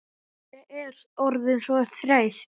Ég er orðin svo þreytt.